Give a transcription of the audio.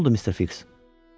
Nə oldu Mr. Fiks?